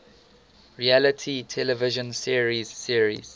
reality television series